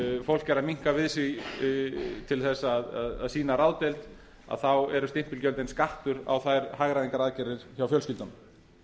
er að minnka við sig til þess að sýna ráðdeild þá eru stimpilgjöldin skattur á þær hagræðingaraðgerðir hjá fjölskyldunum